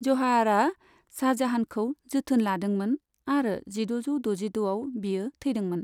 जहाआराआ शाहजहानखौ जोथोन लादोंमोन आरो जिद'जौ दजिद'आव बियो थैदोंमोन।